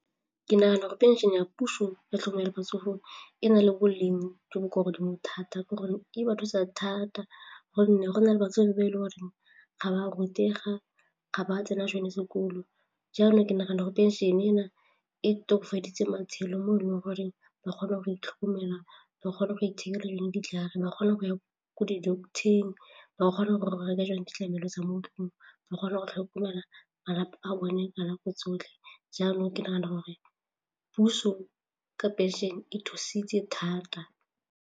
Ke nagana gore pension-e ya puso ya tlhomela matsogo e na le boleng jo bo ko godimo thata ka gonne e ba thusa thata gonne go na le batswadi ba e leng gore ga ba rutega, ga ba tsena sone sekolo jalo ke nagana go pension-e ena e tokofaditse matshelo mo e leng goreng ba kgone go itlhokomela. Ba kgone go ithekela le ditlhare, ba kgona go ya ko di-doctor-eng, ba kgone go reka tsone ditlamelo tsa mo ba kgona go tlhokomela malapa a bone ka nako tsotlhe jalo ke nagana gore puso ka phenšene e thusitse thata.